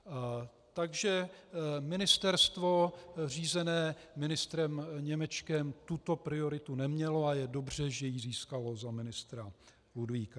Takže ministerstvo řízené ministrem Němečkem tuto prioritu nemělo a je dobře, že ji získalo za ministra Julínka.